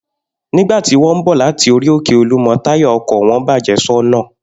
Nígbà tí wó̩n ń bò̩ láti orí-òkè Olúmo̩, táyà o̩kò̩ wo̩n bàjé̩ só̩nà